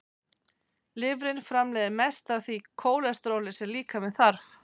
Lifrin framleiðir mest af því kólesteróli sem líkaminn þarf.